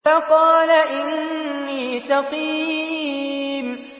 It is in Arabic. فَقَالَ إِنِّي سَقِيمٌ